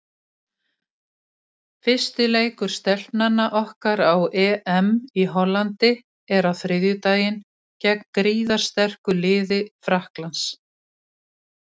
Fyrsti leikur Stelpnanna okkar á EM í Hollandi er á þriðjudaginn gegn gríðarsterku liði Frakklands.